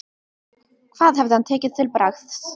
Hvað hefði hann tekið til bragðs?